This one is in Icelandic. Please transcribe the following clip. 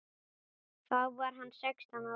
Þá var hann sextán ára.